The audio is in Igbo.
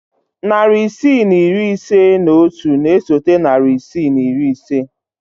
Narị isii na iri ise na otu na-esote narị isii na iri ise.